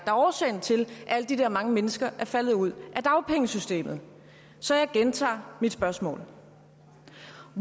er årsagen til at alle de der mange mennesker er faldet ud af dagpengesystemet så jeg gentager mit spørgsmål